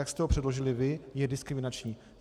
Jak jste ho předložili vy, je diskriminační.